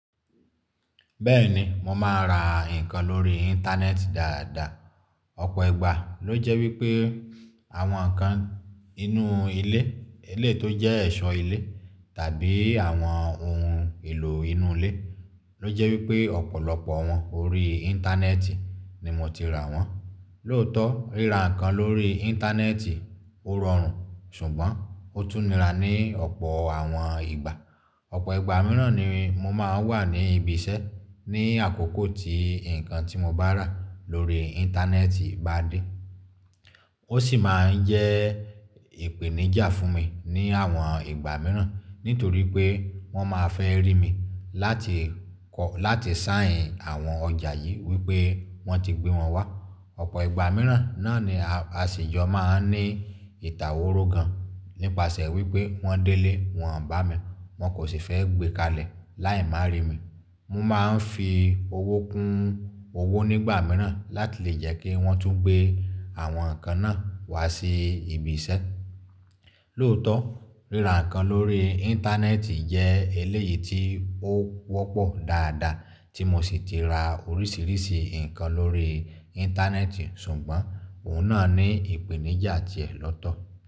Bẹ́ẹ̀ni, mo máa ra nǹkan lórí Íńtánẹ́ẹ̀tì dáadáa. Ọ̀pọ̀ ìgbà ló jẹ́ wípé àwọn nǹkan inú ilé, eléyìí tó jẹ́ ẹ̀ṣọ́ ilé tàbí àwọn ohun èlò inú ilé ló jẹ́ wípé ọ̀pọ̀lọpọ̀ wọn orí íńtánẹ́ẹ̀tì ni mo ti rà wọ́n. Lóòótọ́, ríra nǹkan lórí íńtánẹ́ẹ̀tì ò rọrùn ṣùgbọ́n ó tún nira ní ọ̀pọ̀ àwọn ìgbà. Ọ̀pọ̀ ìgbà míràn ni mo máa n wà ní ibi iṣẹ́ ní àkókò tí nǹkan tí mo bá rà lórí íńtánẹ́ẹ̀tì bá dé. Ó sì máa n jẹ́ ìpèníjà fún mi ní àwọn ìgbà míràn nítorí pé wọ́n máa fẹ́ rí mi láti sáìnì àwọn ọjà yìí wípé wọ́n ti gbé wọn wá. Ọ̀pọ̀ ìgbà míràn náà ni àsèjọ máa n ní ìtàwóró gan nípasẹ̀ wípé wọ́n délé wọ́n bà mí, wọ́n kò sì fẹ́ gbé kalẹ̀ láì má rí mi. Mo máa n fi owó kún owó nígbà míràn láti lè jẹ́ kí wọ́n tún gbé àwọn nǹkan náà wá sí ibi iṣẹ́. Lóòótọ́, ríra nǹkan lórí íńtánẹ́ẹ̀tì jẹ́ eléyìí tí ó wọ́pọ̀ dáadáa tí mo sì ti ra oríṣìíríṣìí nǹkan lórí íńtánẹ́ẹ̀tì ṣùgbọ́n òun náà ní ìpèníjà ti ẹ̀ lọ́tọ̀.